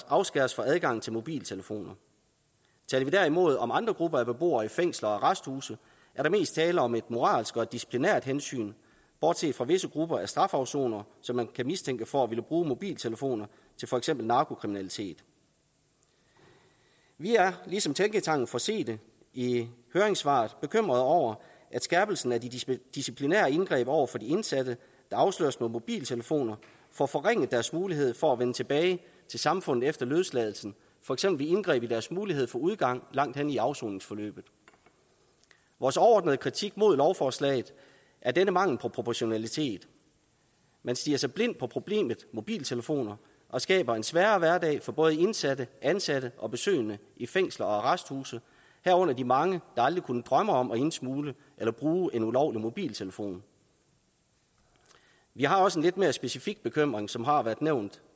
afskæres fra adgang til mobiltelefoner taler vi derimod om andre grupper af beboere i fængsler og arresthuse er der mest tale om et moralsk og et disciplinært hensyn bortset fra visse grupper af strafafsonere som man kan mistænke for at ville bruge mobiltelefoner til for eksempel narkokriminalitet vi er ligesom tænketanken forsete i høringssvaret bekymret over at skærpelsen af de disciplinære indgreb over for de indsatte der afsløres med mobiltelefoner får forringet deres mulighed for at vende tilbage til samfundet efter løsladelsen for eksempel ved indgreb i deres mulighed for udgang langt hen i afsoningsforløbet vores overordnede kritik mod lovforslaget er denne mangel på proportionalitet man stirrer sig blind på problemet mobiltelefoner og skaber en sværere hverdag for både indsatte ansatte og besøgende i fængsler og arresthuse herunder de mange der aldrig kunne drømme om at indsmugle eller bruge en ulovlig mobiltelefon vi har også en lidt mere specifik bekymring som også har været nævnt